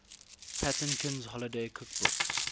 patinkin's holiday cookbook